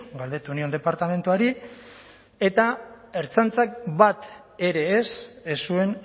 galdetu nion departamentuari eta ertzaintzak bat ere ez ez zuen